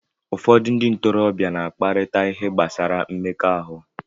Ụfọdụ ndị ntorobịa na-akparịta ihe gbasara mmekọahụ